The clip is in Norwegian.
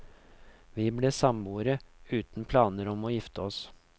Vi ble samboere uten planer om å gifte oss.